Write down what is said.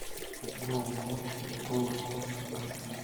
голос монстра аш ди